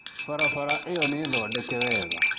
Barabara ĩyo nĩ thondeke wega